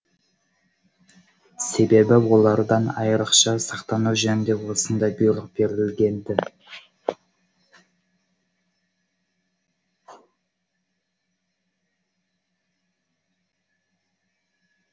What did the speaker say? себебі олардан айрықша сақтану жөнінде осындай бұйрық берілген ді